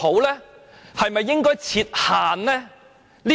還是應該設限呢？